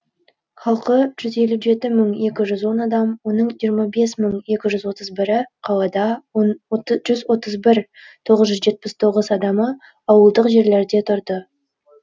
халқы жүз елу жеті мың екі жүз он адам оның жиырма бес мың екі жүз отыз бірі қалада жүз отыз бір мың тоғыз жүз жетпіс тоғыз адамы ауылдық жерлерде тұрды